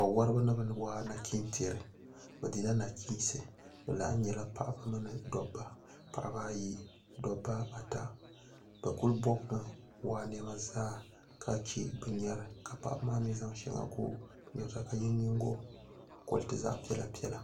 wawariba ni bɛ waa nachintiɛri bɛ dila nachiinsi bɛ lahi nyɛla paɣiba mini dɔbba paɣiba ayi dɔbba ata bɛ kuli bɔbimi waa niɛma zaa ka che bɛ nyɔri ka paɣiba maa mi zaŋ shɛŋa n-ye bɛ nyiŋgokɔriti zaɣ' piɛla piɛla